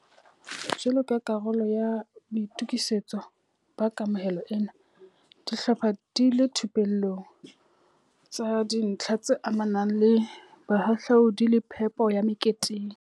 Jwalo ka karolo ya boito kisetso ba kamohelo ena, di hlopha di ile dithupellong tsa dintlha tse amanang le bohahlaudi le phepo ya me keteng.